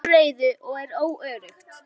Það skapar óreiðu og er óöruggt.